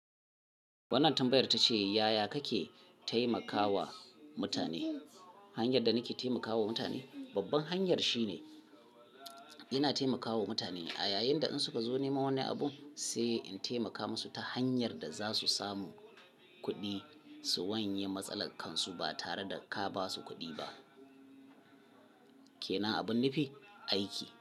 Wannan tambayar ta ce yaya kake taimakawa mutane? Hanyar da nake taimakawa mutane babban hanyar shine ina taimakawa mutane a yayin da in suka zo nema wani abu sai in taimaka musu ta hanyar da za su samu kuɗi su wanye matsalar kansu ba tare da ka basu kuɗi ba. Ke na abin nufi aiki.